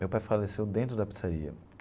Meu pai faleceu dentro da pizzaria.